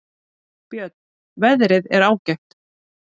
Björn: Veðrið er ágætt.